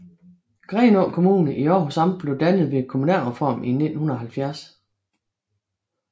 Grenaa Kommune i Århus Amt blev dannet ved kommunalreformen i 1970